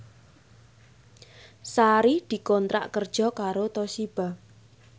Sari dikontrak kerja karo Toshiba